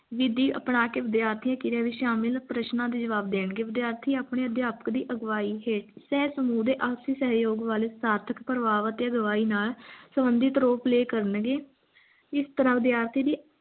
ਵਿਧਿ ਅਪਣਾ ਕੇ ਵਿਦਿਆਰਥੀ ਕਿਰਿਆ ਵਿੱਚ ਸ਼ਾਮਿਲ ਪ੍ਰਸ਼ਨਾਂ ਦੇ ਜਵਾਬ ਦੇਣਗੇ ਵਿਦਿਆਰਥੀ ਆਪਣੇ ਅਧਿਆਪਕ ਦੀ ਅਗਵਾਹੀ ਹੇਠ ਸਹਸਮੂਹ ਦੇ ਆਪਸੀ ਸਹਿਯੋਗ ਵੱਲ ਸਾਰਥਕ ਪ੍ਰਭਾਵ ਅਤੇ ਅਗਵਾਈ ਨਾਲ ਸਬੰਧਿਤ role play ਕਰਨਗੇ ਇਸ ਤਰ੍ਹਾਂ ਵਿਦਿਆਰਥੀ ਦੀ